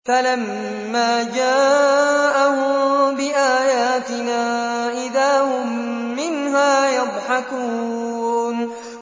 فَلَمَّا جَاءَهُم بِآيَاتِنَا إِذَا هُم مِّنْهَا يَضْحَكُونَ